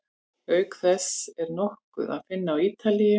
Auk þess er nokkur að finna á Ítalíu.